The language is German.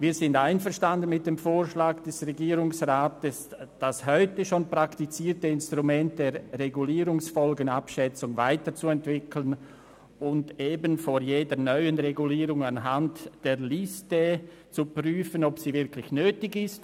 Wir sind mit dem Vorschlag des Regierungsrats einverstanden, das heute schon praktizierte Instrument der Regulierungsfolgenabschätzung weiterzuentwickeln und eben vor jeder neuen Regulierung anhand der Liste zu prüfen, ob sie wirklich nötig ist.